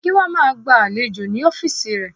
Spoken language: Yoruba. Gíwá máa gba àlejò ní ọ́fíìsì ré